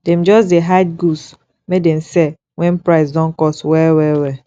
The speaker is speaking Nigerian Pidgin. dem just dey hide goods make dem sell wen price don cost well well well